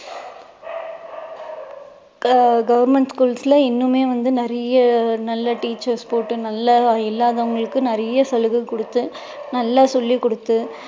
க~ government schools ல இன்னுமே வந்து நிறைய நல்ல teachers போட்டு நல்லா இல்லாதவங்களுக்கு நிறைய சலுகை கொடுத்து நல்லா சொல்லி கொடுத்து